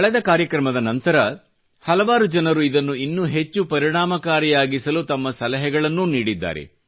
ಕಳೆದ ಕಾರ್ಯಕ್ರಮದ ನಂತರ ಹಲವಾರು ಜನರು ಇದನ್ನು ಇನ್ನೂ ಹೆಚ್ಚು ಪರಿಣಾಮಕಾರಿಯಾಗಿಸಲು ತಮ್ಮ ಸಲಹೆಗಳನ್ನೂ ನೀಡಿದ್ದಾರೆ